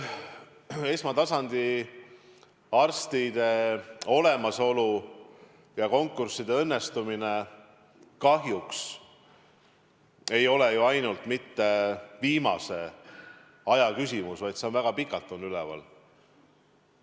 Esmatasandi arstide olemasolu ja konkursside õnnestumine ei ole kahjuks ju ainult mitte viimase aja küsimus, vaid see teema on väga pikalt üleval olnud.